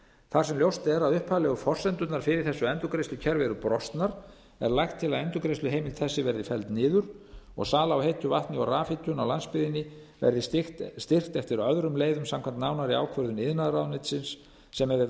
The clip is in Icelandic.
þar sem ljóst er að upphaflegu forsendurnar fyrir þessu endurgreiðslukerfi eru brostnar er lagt til að endurgreiðsluheimild þessi verði felld niður og sala á heitu vatni og rafhitun á landsbyggðinni verði styrkt eftir öðrum leiðum samkvæmt nánari ákvörðun iðnaðarráðuneytisins sem hefur